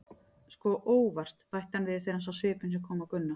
Sko, ÓVART, bætti hann við þegar hann sá svipinn sem kom á Gunna.